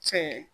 Cɛ